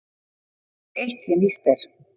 Það er eitt sem víst er.